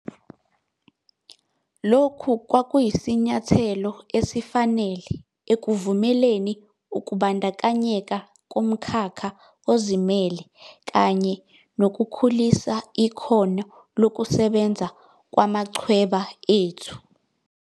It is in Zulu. Lokhu kwakuyisinyathelo esifanele ekuvumeleni ukubandakanyeka komkhakha ozimele kanye nokukhulisa ikhono lokusebenza kwamachweba ethu.